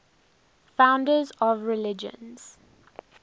founders of religions